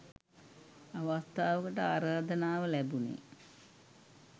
අවස්ථාවකට ආරාධනාව ලැබුණේ.